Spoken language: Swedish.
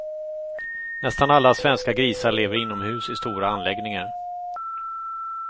Nästan alla svenska grisar lever inomhus i stora anläggningar.